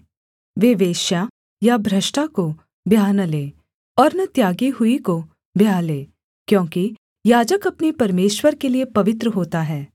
वे वेश्या या भ्रष्टा को ब्याह न लें और न त्यागी हुई को ब्याह लें क्योंकि याजक अपने परमेश्वर के लिये पवित्र होता है